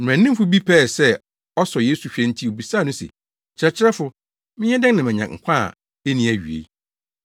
Mmaranimfo bi pɛɛ sɛ ɔsɔ Yesu hwɛ nti obisaa no se, “Kyerɛkyerɛfo, menyɛ dɛn na manya nkwa a enni awiei?”